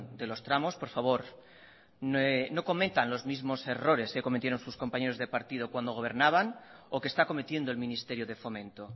de los tramos por favor no cometan los mismos errores que cometieron sus compañeros de partido cuando gobernaban o que está cometiendo el ministerio de fomento